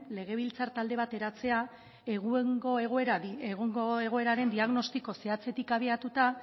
legebiltzar talde bat eratzea egungo egoeraren diagnostiko zehatzetik abiatuta